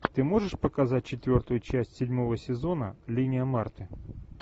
ты можешь показать четвертую часть седьмого сезона линия марты